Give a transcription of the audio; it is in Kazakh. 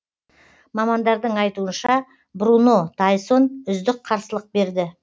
мамандардың айтуынша бруно тайсон үздік қарсылық берді